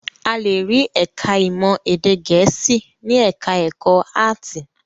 A le rí ẹ̀ka-ìmọ̀ èdè Gẹ̀ẹ́sì ní ẹ̀ka-ẹ̀kọ́ áátì.